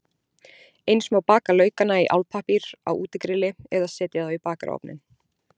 Eins má baka laukana í álpappír á útigrilli eða setja þá í bakarofninn.